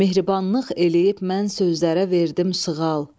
Mehribanlıq eləyib mən sözlərə verdim sığal.